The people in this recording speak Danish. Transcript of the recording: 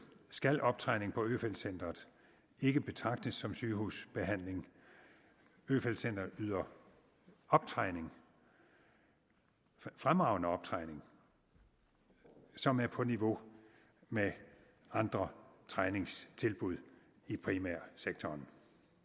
skal optræning på øfeldt centret ikke betragtes som sygehusbehandling øfeldt centret yder optræning fremragende optræning som er på niveau med andre træningstilbud i primærsektoren